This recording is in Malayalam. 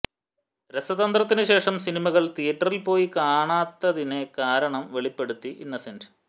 രസതന്ത്രത്തിനു ശേഷം സിനിമകൾ തിയറ്ററിൽ പോയി കാണാത്തതിനെ കാരണം വെളിപ്പെടുത്തി ഇന്നസെന്റ്